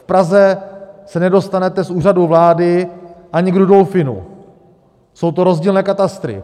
V Praze se nedostanete z Úřadu vlády ani k Rudolfinu, jsou to rozdílné katastry.